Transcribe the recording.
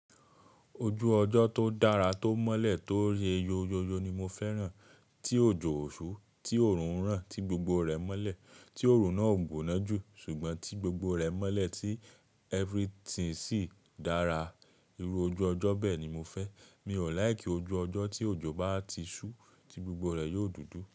Ojú ọjọ́ tó dára tó mọ́lẹ̀ tó yeeyo yóyó ni mo fẹ́ràn, tí òjò ó ṣú, tí òòrùn ń ràn, tí gbogbo rẹ̀ mọ́lẹ̀, tí òòrùn náà ò gbóná jù, ṣùgbọ́n tí gbogbo rẹ̀ mọ́lẹ̀, tí everything sì dára. Irú ojú ọjọ́ bẹ́ẹ̀ ni mo fẹ́. Mi ò like ojú ọjọ́ tí òjò bá ti ṣú, tí gbogbo rẹ̀ yóò dúdú.